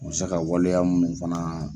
U ma se ka waleya mun fana.